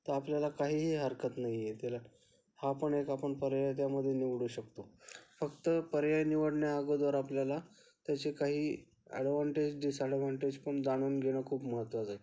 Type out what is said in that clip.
तर आपल्याला काहीही हरकत नाहीये तिला हा पण एक आपण पर्याया मध्ये निवडू शकतो, फक्त पर्याय निवडण्या अगोदर आपल्याला त्याचे काही एडव्हान्टेज डिसाएडव्हान्टेज पण जाणून घेणं खूप महत्त्वाचं आहे.